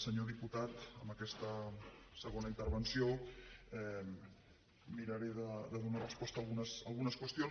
senyor diputat amb aquesta segona intervenció miraré de donar resposta a algunes qüestions